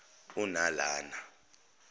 unalana